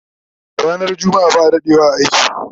Ranar jumma'a ba'a dadewa a aiki